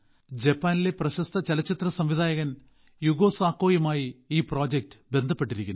ജപ്പാനിലെ പ്രശസ്ത ചലച്ചിത്ര സംവിധായകൻ യുഗോ സാക്കോയുമായി ഈ പ്രോജക്ട് ബന്ധപ്പെട്ടിരുന്നു